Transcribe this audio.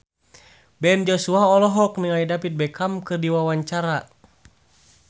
Ben Joshua olohok ningali David Beckham keur diwawancara